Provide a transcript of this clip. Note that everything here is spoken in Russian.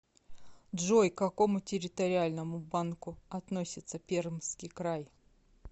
джой к какому территориальному банку относится пермский край